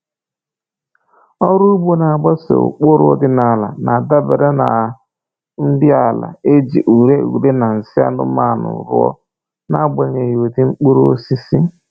Ọrụ ugbo na-agbaso ụkpụrụ ọdịnaala na-adabere na nri ala e ji ure ure na nsị anụmanụ rụọ, n’agbanyeghị ụdị mkpụrụosisi.